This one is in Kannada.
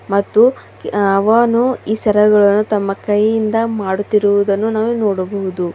ಮತ್ತು ಕ್ ಅವನು ಈ ಸರಗಳನ್ನು ತಮ್ಮ ಕೈಯಿಂದ ಮಾಡುತ್ತಿರುವದನ್ನು ನಾವು ನೋಡಬಹುದು.